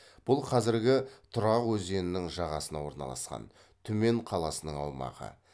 бұл қазіргі тұрғақ өзенінің жағасына орналасқан түмен қаласының аумағы